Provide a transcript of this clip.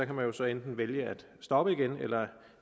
kan jo så enten vælge at stoppe igen eller